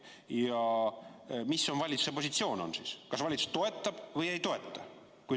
Ja mis on siis valitsuse positsioon: kas valitsus toetab või ei toeta?